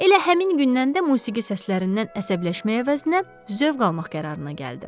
Elə həmin gündən də musiqi səslərindən əsəbləşməyə əvəzinə zövq almaq qərarına gəldi.